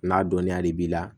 N'a dɔniya de b'i la